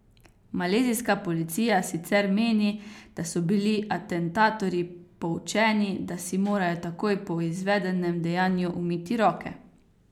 Malezijska policija sicer meni, da so bili atentatorji poučeni, da si morajo takoj po izvedenem dejanju umiti roke.